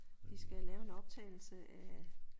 De skal lave en optagelse af